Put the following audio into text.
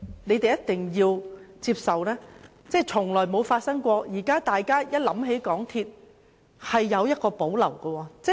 我們一定要接受一點，就是市民現時想起港鐵公司，是有所保留的。